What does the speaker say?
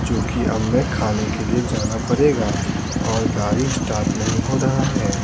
क्योंकि अब मैं खाने के लिए जाना पड़ेगा और गाड़ी स्टार्ट नहीं हो रहा है।